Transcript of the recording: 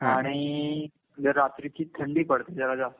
आणि इकड़ रात्रीची थंडी पडते जरा जास्त.